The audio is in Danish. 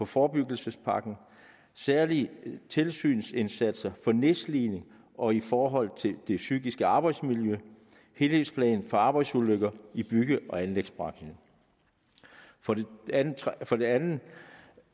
forebyggelsespakken særlige tilsynsindsatser for nedslidning og i forhold til det psykiske arbejdsmiljø helhedsplan for arbejdsulykker i bygge og anlægsbranchen for det andet